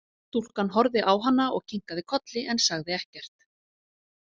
Stúlkan horfði á hana og kinkaði kolli en sagði ekkert.